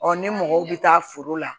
ni mɔgɔw bɛ taa foro la